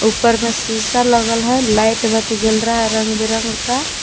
ऊपर में शीशा लगल है लाइट बत्ती जल रहा है रंग बिरंग का--